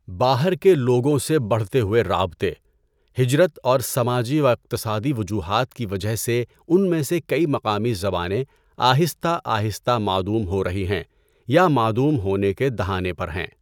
باہر کے لوگوں سے بڑھتے ہوئے رابطے، ہجرت اور سماجی و اقتصادی وجوہات کی وجہ سے ان میں سے کئی مقامی زبانیں آہستہ آہستہ معدوم ہو رہی ہیں یا معدوم ہونے کے دہانے پر ہیں۔